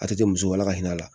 A tɛ musola ka hinɛ a la